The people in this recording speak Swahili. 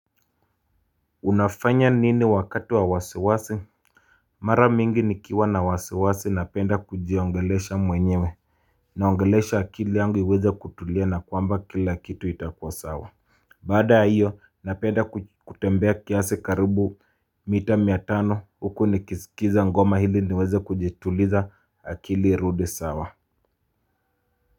Unafanya nini wakati wa wasiwasi Mara mingi nikiwa na wasiwasi napenda kujiongelesha mwenyewe Naongelesha akili yangu iweze kutulia na kwamba kila kitu itakua sawa Baada hiyo napenda kutembea kiasi karibu mita mia tano huku nikiskiza ngoma ili niweze kujituliza akili irudi sawa.